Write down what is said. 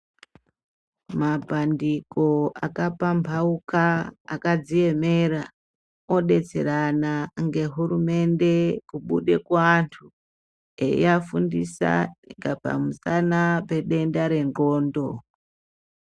Mabhandiko akapambauka akadziemera odetserana ngehurumende kubude kuandu eyiafundisa ngepamusana pedenda rendxondo.